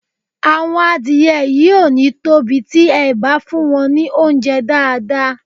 Àwọn adìẹ yìí ò ní tóbi tí e bá fún wọn ní óunjẹ́ dáàdáà